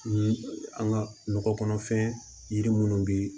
Ni an ka nɔgɔ kɔnɔfɛn yiri minnu bɛ yen